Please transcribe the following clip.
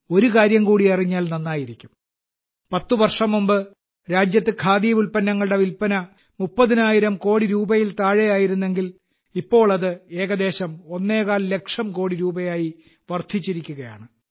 ഒരു കാര്യം കൂടി അറിഞ്ഞാൽ നന്നായിരിക്കും പത്ത് വർഷം മുമ്പ് രാജ്യത്ത് ഖാദി ഉൽപ്പന്നങ്ങളുടെ വിൽപന 30000 കോടി രൂപയിൽ താഴെയായിരുന്നെങ്കിൽ ഇപ്പോൾ അത് ഏകദേശം ഒന്നേകാൽ ലക്ഷം കോടി രൂപയായി വർദ്ധിച്ചിരിക്കുകയാണ്